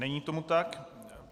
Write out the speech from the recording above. Není tomu tak.